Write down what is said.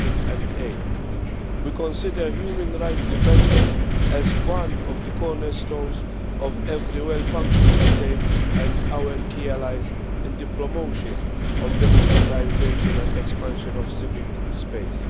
2008. We consider human rights defenders as one of the cornerstones of every well-functioning state and are key allies in the promotion of the democratisation and expansion of civil space.